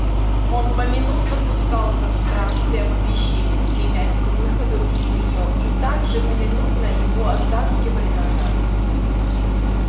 он поминутно пускался в странствия по пещере стремясь к выходу из неё и также поминутно его оттаскивали назад